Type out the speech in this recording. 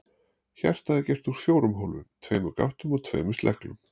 Hjartað er gert úr fjórum hólfum, tveimur gáttum og tveimur sleglum.